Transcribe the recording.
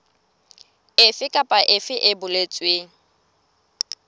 efe kapa efe e boletsweng